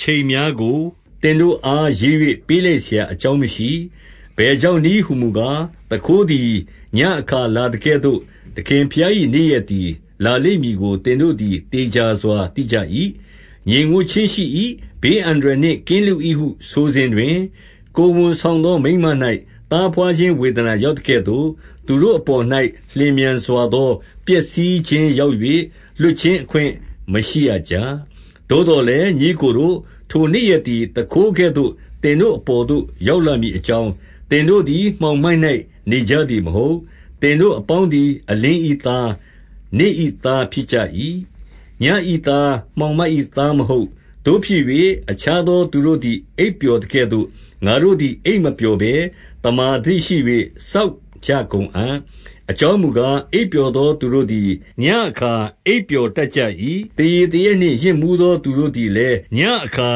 ချိန်များကို သင်တို့အား ရေး၍ ပေးလိုက်စရာအကြောင်းမရှိ။ အဘယ်ကြောင့်နည်းဟူမူကား၊ သူခိုးသည် ညဉ့်အခါလာသကဲ့သို့၊ သခင်ဘုရား၏ နေ့ရက်သည် လာလိမ့်မည်ကို သင်တို့သည် သေချာစွာသိကြ၏။ ငြိမ်ဝပ်ခြင်းရှိ၏၊ ဘေးအန္တရာယ်နှင့် ကင်းလွတ်၏ဟု ဆိုစဉ်တွင်၊ ကိုယ်ဝန်ဆောင်သော မိန်းမ၌ သားဘွားခြင်းဝေဒနာ ရောက်သကဲ့သို့၊ သူတို့အပေါ်၌ လျင်မြန်စွာသော ပျက်စီးခြင်းရောက်၍ လွတ်ခြင်းအခွင့် မရှိရကြ။ သို့သော်လည်း၊ ညီအစ်ကိုတို့၊ ထိုနေ့ရက်သည် သူခိုးကဲ့သို့ သင်တို့အပေါ်သို့ ရောက်လာမည် အကြောင်း၊ သင်တို့သည် မှောင်မိုက်၌ နေကြသည်မဟုတ်။ သင်တို့အပေါင်းသည် အလင်း၏သား၊ နေ့၏သားဖြစ်ကြ၏။ ညဉ့်၏သား ၊ မှောင်မိုက်၏သားမဟုတ်။ သို့ဖြစ်၍ ၊ အခြားသော သူတို့သည် အိပ်ပျော်သကဲ့သို့၊ ငါတို့သည် အိပ်မပျော်ဘဲ သမ္မာသတိရှိ၍ စောင့်ကြကုန်အံ့။ အကြောင်းမူကား၊ အိပ်ပျော်သော သူတို့သည် ညဉ့်အခါ အိပ်ပျော်တတ်ကြ၏။ သေရည်သေရက်နှင့် ယစ်မူးသော သူတို့သည်လည်း ညဉ့်အခါ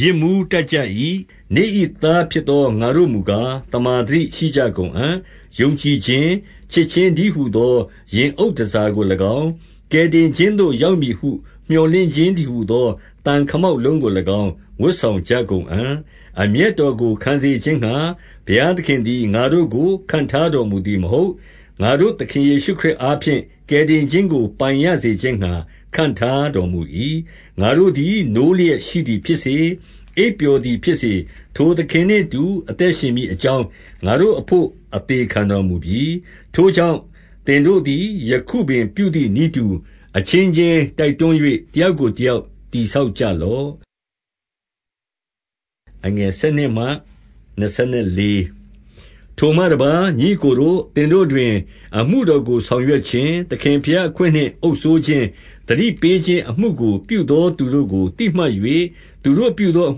ယစ်မူးတတ်ကြ၏။ နေ့၏သားဖြစ်သော ငါတို့မူကား၊ သမ္မာသတိရှိကြကုန်အံ့။ ယုံကြည်ခြင်း၊ ချစ်ခြင်းတည်းဟူသော ရင်အုပ်တန်ဆာကို၎င်း၊ ကယ်တင်ခြင်းသို့ ရောက်မည်ဟု မြော်လင့်ခြင်းတည်းဟူသော သံခမောက်လုံးကို၎င်း၊ ဝတ်ဆောင်ကြကုန်အံ့။ အမျက်တော်ကိုခံစေခြင်းငှါ ဘုရားသခင်သည် ငါတို့ကို ခန့်ထားတော်မူသည်မဟုတ်။ ငါတို့သခင်ယေရှုခရစ်အားဖြင့် ကယ်တင်ခြင်းကို ပိုင်ရစေခြင်းငှါ ခန့်ထားတော်မူ၏။ ငါတို့သည် နိုးလျက်ရှိသည်ဖြစ်စေ၊ အိပ်ပျော်သည်ဖြစ်စေ၊ ထိုသခင်နှင့်အတူ အသက်ရှင်မည် အကြောင်း၊ ငါတို့အဘို့ အသေခံတော်မူပြီ။ ထိုကြောင့်၊ သင်တို့သည်ယခုပင်ပြုသည်နည်းတူ၊ အချင်းချင်း တိုက်တွန်း၍ တယောက်ကိုတယောက် တည်ဆောက်ကြလော့။ ထိုမှတပါး၊ ညီအစ်ကိုတို့၊ သင်တို့တွင် အမှုတော်ကိုဆောင်ရွက်ခြင်း၊ သခင်ဘုရား၊ အခွင့်နှင့် အုပ်စိုးခြင်း၊ သတိပေးခြင်း အမှုကိုပြုသောသူတို့ကို သိမှတ်၍၊ သူတို့ပြုသောအ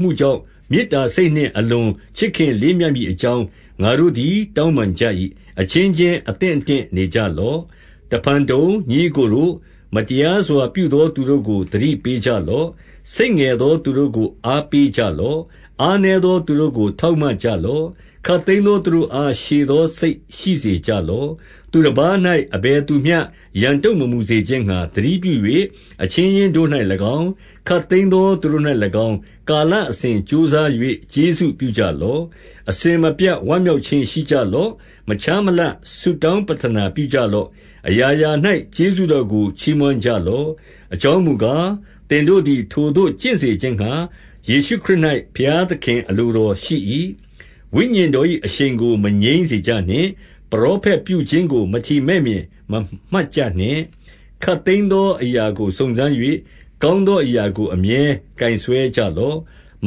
မှုကြောင့် မေတ္တာစိတ်နှင့် အလွန်ချစ်ခင်လေးမြတ်မည်အကြောင်း၊ ငါတို့သည် တောင်းပန်ကြ၏။ အချင်းချင်းအသင့်အတင့်နေကြလော့။ တဖန်တုံ၊ ညီအစ်ကိုတို့၊ မတရားစွာပြုသောသူတို့ကို သတိပေးကြလော့။ စိတ်ငယ်သောသူတို့ကို အားပေးကြလော့။ အားနည်းသော သူတို့ကို ထောက်မကြလော့။ ခပ်သိမ်းသောသူတို့အား ရှည်သောစိတ်ရှိ စေကြလော့။ သူတပါး၌အဘယ်သူမျှ ရန်တုံ့မမူစေခြင်းငှါ သတိပြု၍၊ အချင်းချင်းတို့၌၎င်း၊ ခပ်သိမ်းသောသူတို့၌ ၎င်း၊ ကာလအစဉ်ကြိုးစား၍ ကျေးဇူးပြုကြလော့။ အစဉ်မပြတ်ဝမ်းမြောက်ခြင်းရှိကြလော့။ မခြားမလပ်ဆုတောင်းပဌာနပြုကြလော့။ အရာရာ၌ ကျေးဇူးတော်ကို ချီးမွမ်းကြလော့။ အကြောင်းမူကား၊ သင်တို့သည် ထိုသို့ကျင့်စေခြင်းငှါ၊ ယေရှုခရစ်၌ ဘုရားသခင်အလိုတော်ရှိ၏။ ဝိညာဉ်တော်၏အရှိန်ကို အငြိမ်းစေကြနှင့် ။ ပရောဖက်ပြုခြင်းကို မထီမဲ့မြင်မမှတ်ကြနှင့် ။ ခပ်သိမ်းသော အရာကိုစုံစမ်း၍ ၊ ကောင်းသော အရာကို အမြဲကိုင်စွဲကြလော့ ။ မ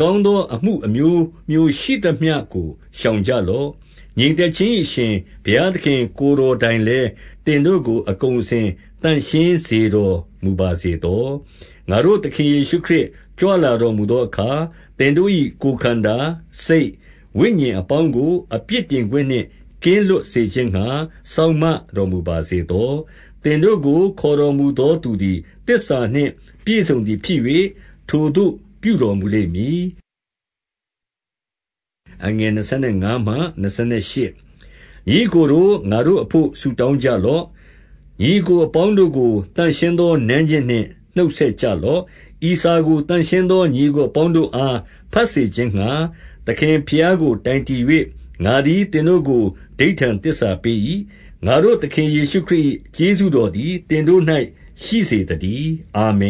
ကောင်းသောအမှုအမျိုးမျိုးရှိသမျှကို ရှောင်ကြလော့။ ငြိမ်သက်ခြင်း၏အရှင်ဘုရားသခင် ကိုယ်တော်တိုင်လည်း၊ သင်တို့ကို အကုန်အစင် သန့်ရှင်းစေတော်မူ ပါစေသော။ ငါတို့ သခင်ယေရှု ခရစ်ကြွလာတော်မူသောအခါ၊ သင်တို့၏ ကိုယ်ခန္ဓာ၊ စိတ်၊ ဝိညာဉ်အပေါင်းကို အပြစ်တင်ခွင့်နှင့် ကင်းလွတ်စေခြင်းငှါ စောင့်မတော်မူပါစေသော။ သင်တို့ကိုခေါ်တော်မူသောသူသည် သစ္စာနှင့် ပြည့်စုံသည် ဖြစ်၍၊ ထိုသို့ပြုတော်မူလိမ့်မည်။ ညီအစ်ကိုတို့၊ ငါတို့အဘို့ဆုတောင်းကြလော့။ ညီအစ်ကိုအပေါင်းတို့ကို သန့်ရှင်းသောနမ်းခြင်းနှင့် နှုတ်ဆက်ကြလော့။ ဤစာကို သန့်ရှင်းသော ညီအစ်ကိုအပေါင်းတို့အား ဘတ်စေခြင်းငှာ၊ သခင်ဘုရားကို တိုင်တည်၍ ငါသည် သင်တို့ကို အဓိဋ္ဌာန်သစ္စာပေး၏။ ငါတို့သခင် ယေရှုခရစ်၏ ကျေးဇူးတော်သည် သင်တို့၌ ရှိစေသတည်း။ အာမင